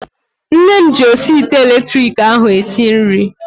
Nne m ji osi ite elektriki ahu esi nri